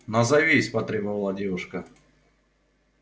назовись потребовала девушка